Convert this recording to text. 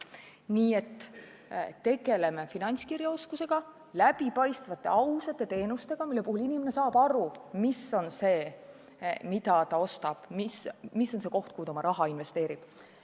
Nii et tegeleme finantskirjaoskusega, läbipaistvate, ausate teenustega, mille puhul inimene saab aru, mida ta ostab, kuhu ta oma raha investeerib!